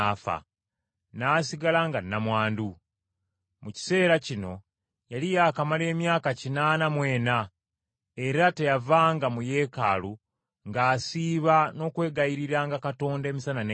n’asigala nga nnamwandu. Mu kiseera kino yali yaakamala emyaka kinaana mu ena, era teyavanga mu Yeekaalu ng’asiiba n’okwegayiriranga Katonda emisana n’ekiro.